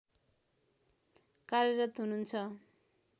कार्यरत हुनुहुन्छ